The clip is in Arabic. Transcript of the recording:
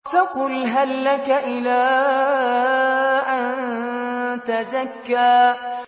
فَقُلْ هَل لَّكَ إِلَىٰ أَن تَزَكَّىٰ